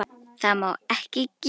Það má ekki gerast.